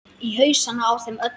Í hausana á þeim öllum.